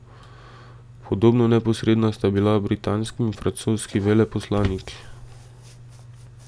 Podobno neposredna sta bila britanski in francoski veleposlanik.